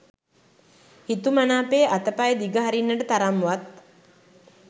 හිතුමනාපේ අතපය දිග හරින්නට තරම් වත්